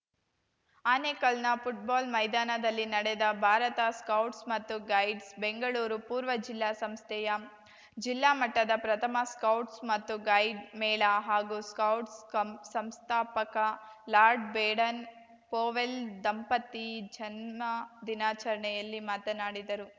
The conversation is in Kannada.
ಆನೇಕಲ್‌ನ ಫುಟ್‌ಬಾಲ್‌ ಮೈದಾನದಲ್ಲಿ ನಡೆದ ಭಾರತ ಸ್ಕೌಟ್ಸ್ ಮತ್ತು ಗೈಡ್ಸ್ ಬೆಂಗಳೂರು ಪೂರ್ವ ಜಿಲ್ಲಾ ಸಂಸ್ಥೆಯ ಜಿಲ್ಲಾ ಮಟ್ಟದ ಪ್ರಥಮ ಸ್ಕೌಟ್ಸ್ ಮತ್ತು ಗೈಡ್‌ ಮೇಳ ಹಾಗೂ ಸ್ಕೌಟ್ಸ್ ಕಂ ಸಂಸ್ಥಾಪಕ ಲಾರ್ಡ್‌ ಬೇಡನ್‌ ಪೊವೆಲ್‌ ದಂಪತಿ ಜನ್ನ ದಿನಾಚರಣೆಯಲ್ಲಿ ಮಾತನಾಡಿದರು